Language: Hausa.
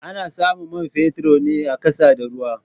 Ana samun man fetur ne a ƙasa da ruwa.